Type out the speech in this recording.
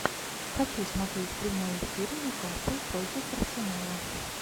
хочу смотреть прямой эфир ньюкасл против арсенала